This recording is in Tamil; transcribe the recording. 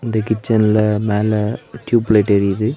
இந்த கிச்சன்ல மேல டியூப்லைட் எரியிது.